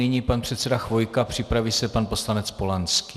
Nyní pan předseda Chvojka, připraví se pan poslanec Polanský.